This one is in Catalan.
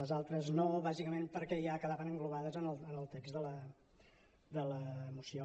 les altres no bàsicament perquè ja quedaven englobades en el text de la moció